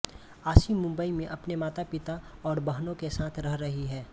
आशी मुंबई में अपने मातापिता और बहनों के साथ रह रही है